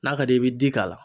N'a ka d'i ye i bi di k'a la.